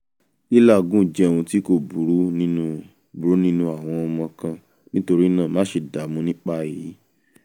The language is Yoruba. lilàágùn jẹ́ ohun tí kó burú nínú burú nínú àwọn ọmọ kan nítorí náà máṣe dààmú nípa èyí